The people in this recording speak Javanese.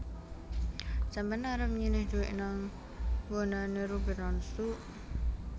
Sampean arep nyilih duit nang nggonane Ruben Onsu